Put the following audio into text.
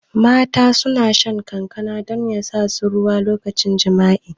Mata suna shan kankana don yasa su ruwa lokacin jami'a